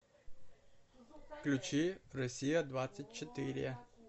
включи россия двадцать четыре